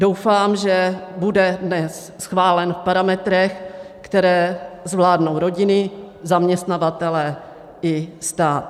Doufám, že bude dnes schválen v parametrech, které zvládnou rodiny, zaměstnavatelé i stát.